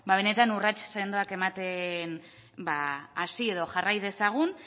benetan urrats sendoak ematen hasi edo jarrai dezagun